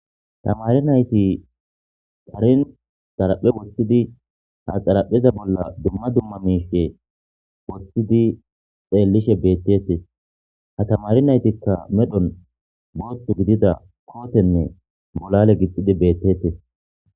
Tamari nayti tarin xaraphe woththidi ha xarapheza bolla dumma dumma miishe woththidi xeellishe beettettes ha tamari naytikka medhon booththu gidida kootenne bolale gixxidi beettetes